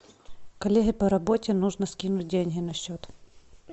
коллеге по работе нужно скинуть деньги на счет